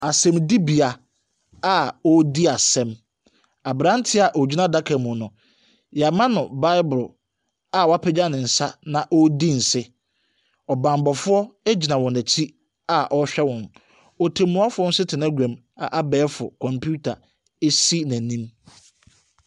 Asɛnnibea a wɔredi asɛm, aberanteɛ a ɔgyina adaka mu no, wɔama no bible a wapagya ne nsa na ɔredi nse. Ɔbammɔfoɔ gyina wɔn akyi a ɔrehwɛ wɔn. Ɔtɛmmuafoɔ nso te n'aguam a abɛɛfo kɔmputa si n'anim.